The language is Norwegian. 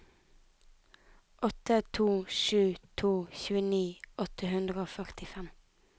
åtte to sju to tjueni åtte hundre og førtifem